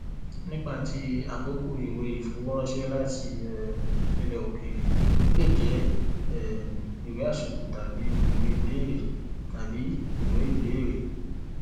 nípa ti àkókò ìwé ìfowóránṣẹ láti um ilẹ òkèèrè lè jẹ um ìwé àsìkò tàbí ìwé ibéèrè tàbí ìwé ibéèrè